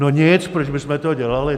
No nic, proč bychom to dělali?